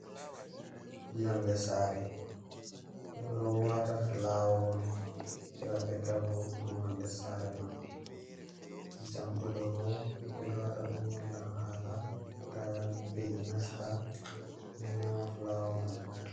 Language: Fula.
Yonde sare: Ɓeɗo wata fulawa on heɓa ɓedda voɗungo yonde sare man, jamɗe ɗo bo ɓeɗo wata ɗum on ngam hala ta mbe'i nasta nyama fulawa mai.